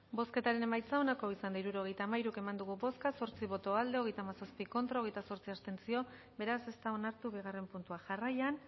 bozketaren emaitza onako izan da hirurogeita hamairu eman dugu bozka zortzi boto aldekoa hogeita hamazazpi contra hogeita zortzi abstentzio beraz ez da onartu bigarren puntua jarraian